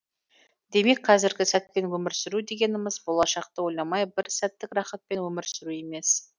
демек қазіргі сәтпен өмір сүру дегеніміз болашақты ойламай бір сәттік рахатпен өмір сүру емес